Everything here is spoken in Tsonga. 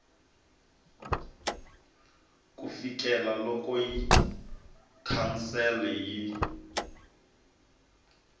ku fikela loko council yi